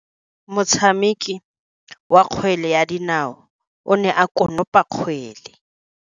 Motshameki wa kgwele ya dinaô o ne a konopa kgwele.